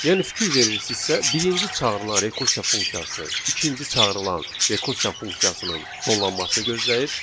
Yəni fikir verirsinizsə, birinci çağırılan rekursiya funksiyası ikinci çağırılan rekursiya funksiyasının sonlanmasını gözləyir.